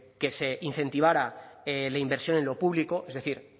que se incentivara la inversión en lo público es decir